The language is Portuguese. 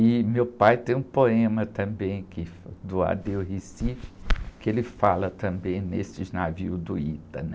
E meu pai tem um poema também, que, do Adeus Recife, que ele fala também nesses navios do Ita, né?